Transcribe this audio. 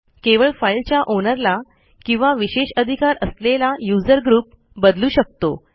केवळ फाईलच्या ओनरला किंवा विशेष अधिकार असलेला यूझर ग्रुप बदलू शकतो